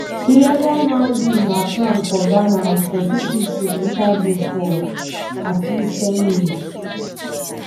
illegal mining na crime for ghana as pesin fit to enta jail for at least ten years.